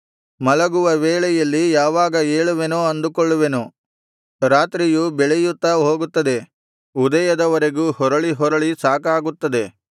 ಮಲಗುವ ವೇಳೆಯಲ್ಲಿ ಯಾವಾಗ ಏಳುವೆನೋ ಅಂದುಕೊಳ್ಳುವೆನು ರಾತ್ರಿಯು ಬೆಳೆಯುತ್ತಾ ಹೋಗುತ್ತದೆ ಉದಯದವರೆಗೂ ಹೊರಹೊರಳಿ ಸಾಕಾಗುತ್ತದೆ